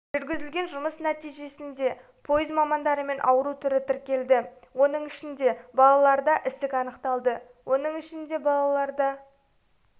жүргізілген жұмыс нәтижесінде пойыз мамандарымен ауру түрі тіркелді оның ішінде балаларда ісік анықталды оның ішінде балаларда